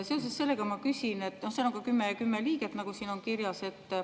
Seal on kümme liiget, nagu siin on kirjas.